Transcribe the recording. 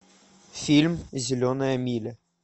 фильм зеленая миля